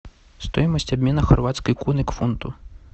стоимость обмена хорватской куны к фунту